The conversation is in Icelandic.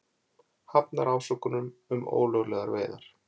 Hafnar ásökunum um ólöglegar veiðar